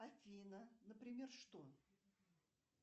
афина например что